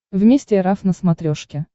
вместе эр эф на смотрешке